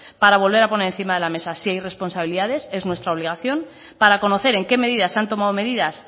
para volver a poner encima de la mesa si hay responsabilidad es nuestra obligación para conocer en qué medidas se han tomado medidas